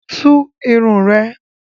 Tú irun ẹ!